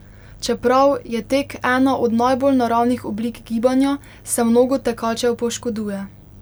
Čeprav je tek ena od najbolj naravnih oblik gibanja, se mnogo tekačev poškoduje.